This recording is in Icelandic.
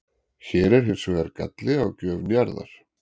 Hér er hins vegar galli á gjöf Njarðar.